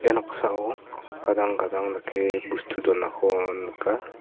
ia noksao gadang gadang dake bustu donako nika.